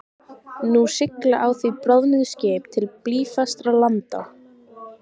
Nú sigla á því bráðnuð skip til blýfastra landa.